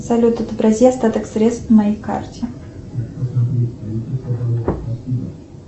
салют отобрази остаток средств на моей карте